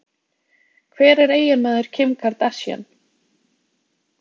Hver er eiginmaður Kim Kardashian?